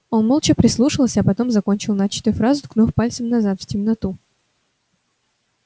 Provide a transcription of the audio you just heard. он молча прислушался а потом закончил начатую фразу ткнув пальцем назад в темноту